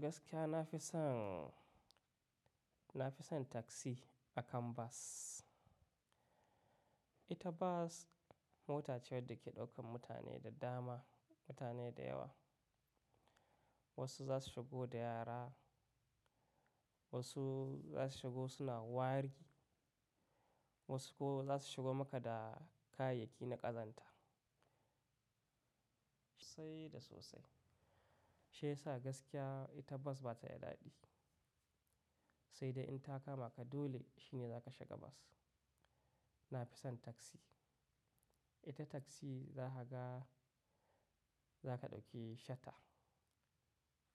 Gaskiya na fi son, na fi son taksi akan bas. Ita bas mota ce wadda ke ɗaukan mutane da dama, mutane da yawa. Wasu za su shigo da yara, wasu za su shigo suna wari, wasu ko za su shigo maka da kayayyaki na ƙazanta sai da sosai. Shi ya sa gaskiya ita bas ba ta da daɗi. Sai dai in ta kama ka dole shi ne za ka shiga bas. Na fi son taksi. Ita taksi za ka ga, za ka ɗauki shata.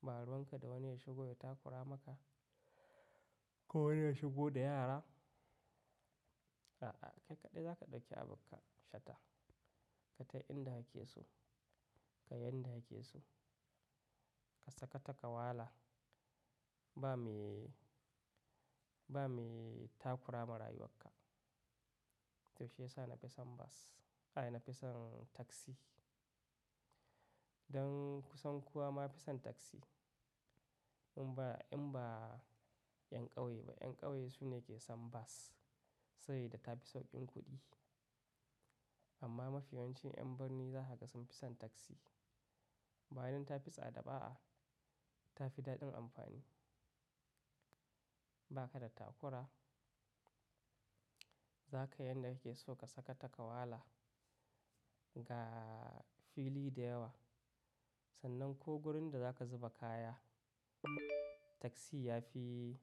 Ba ruwan ka da wani ya shigo ya takura maka ko wani ya shigo da yara. A'a, kai kaɗai za ka ɗauki abunka shata. Ka tafi inda ake so, ka yi yadda yake so. Ka saka takawala ba me, ba me takura ma rayuwarka. To shi ya sa na fi son bas, ai na fi son taksi. Don kusan kowa ma fi son taksi. In ba, in ba yan ƙauye ba. Yan ƙauye su ne ke son bas, sabide ta fi sauƙin kuɗi. Amma mafiyawancin yan birni za haka sun fi son taksi. Bayan ta fi tsada ba'a, ta fi daɗin amfani. Ba ka da takura. Za ka yadda yake so ka saka takawala ga fili da yawa. Sannan ko wurin da za ka zuba kaya taksi ya fi,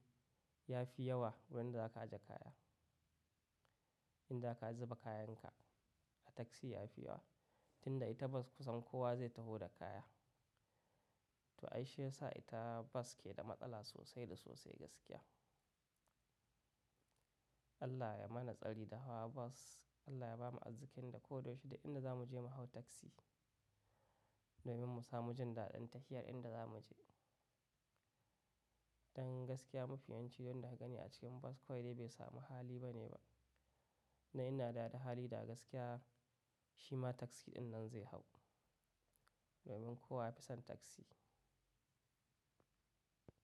ya fi yawa wurin da za ka ajiye kaya. In za ka zuba kayan ka a taksi ya fi yawa. Tinda ita bas kusan kowa zai taho da kaya. To ai shi ya sa ita bas ke da matsala sosai da sosai gaskiya. Allah ya mana tsari da hawa bas. Allah ya bamu azzikin da ko da yaushe da inda za mu je mu hau taksi domin mu samu jan daɗin tafiyar inda za mu je. Don gaskiya mafiyawanci don daga gani a cikin bas kawai dai bai samu hali ba ne ba. Na ina dada hali da gaskiya shi ma taksi dinnan zai hau domin kowa ya fi son taksi.